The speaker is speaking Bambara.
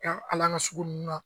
hali an ka sugu ninnu na